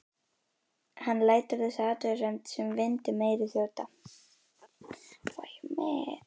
Hann lætur þessa athugasemd sem vind um eyru þjóta.